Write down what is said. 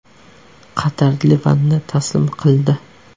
Qatar Livanni taslim qildi .